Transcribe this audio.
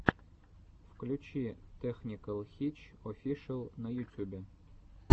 включи тэхникэл хитч офишэл на ютюбе